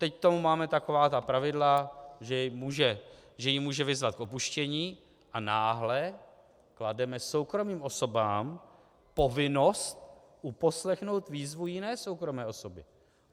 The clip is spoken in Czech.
Teď k tomu máme taková ta pravidla, že ji může vyzvat k opuštění, a náhle klademe soukromým osobám povinnost uposlechnout výzvu jiné soukromé osoby.